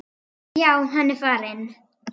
Já, hann er farinn